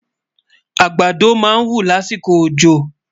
àgbàdá má ń wú lásìkò ọjọ